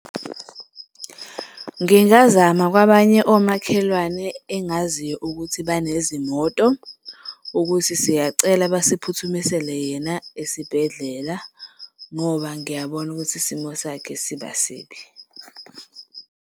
Ngingazama kwabanye omakhelwane engaziyo ukuthi banezimoto ukuthi siyacela basiphuthumisele yena esibhedlela ngoba ngiyabona ukuthi isimo sakhe siba sibi.